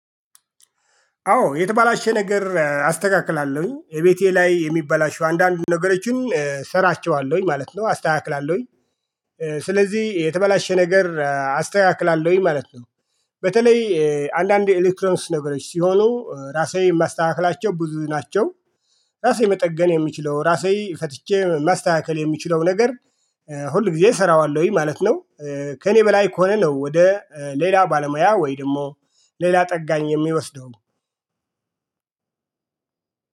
አዎ የተበላሸ ነገር አስተካክላለሁኝ። የቤቴ ላይ የሚበላሽው አንዳንድ ነገሮችን እሰራቸዋለሁኝ ማለት ነው። አስተካክላለሁኝ። ስለዚህ የተበላሸ ነገር አስተካክላለሁኝ ማለት ነው። በተለይ አንዳንዴ ኤሌክትሮንስ ነገሮች ሲሆኑ ራሴ የማስተካክላቸው ብዙ ናቸው። ራሴ መጠገን የሚችለው ራሴ ፈትቼ ማስተካከል የሚችለው ነገር ሁል ጊዜ እሰራዋለሁኝ ማለት ነው። ከእኔ በላይ ከሆነ ነው ወደ ሌላ ባለሙያ ወይ ደግሞ ሌላ ጠጋኝ የምወስደው።